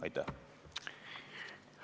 Aitäh!